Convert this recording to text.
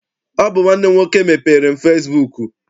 Ọ bụ nwanne m nwoke mepeere m fesibuuku.